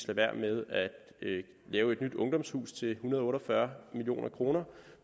være med at lave et nyt ungdomshus til en hundrede og otte og fyrre million kr